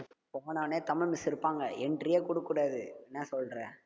போன உடனே தமிழ் miss இருப்பாங்க entry யே கொடுக்கக் கூடாது என்ன சொல்ற